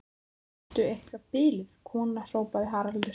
Ertu eitthvað biluð kona, hrópaði Haraldur.